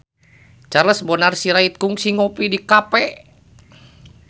Charles Bonar Sirait kungsi ngopi di cafe